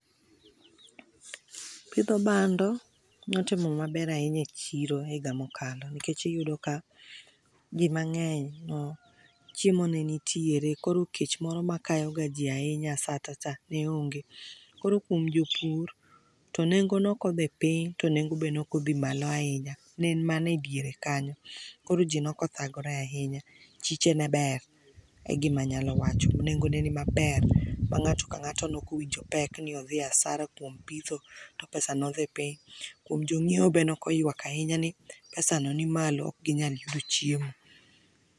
Pidho bando notimo maber ahinya echiro higa mokalo nikech iyudo ka jii mang'eny chiemo ne nitiere. Koro kech moro makayo ji ahinya asatacha ne onge. Koro kuom jopur to nengo ne ok odhi piny tonengo be neok odhi malo ahinya ne en mana ediere kanyo. Koro jii no ok othagore ahinya chiche ne ber e gima anyalo wacho nengo ne ni ber ma ng'ato ang'ato ne ok owinjo pek ni odhi asara kuom pitho to pesa no dhi piny. Kuom jonyiewo be ne ok oywak ahinya ni pesano ni malo ok gi nyal yudo chiemo.